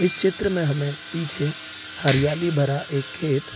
इस में क्षेत्र में हमें पीछे हरियाली भरा एक खेत --